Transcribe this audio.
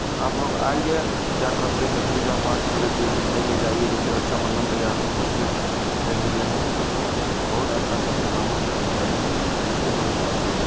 आप लोग आइये। क्या कहते हैं पूजा पाठ करने के लिए मिठाई ले जाइये जैसे रक्षाबंधन तैयार में हो मिठाई ले जाइये आप लोग। बोहोत अच्छा सस्ते दामों में मिठाई है। थैंक यू दोस्तों। आइयेगा।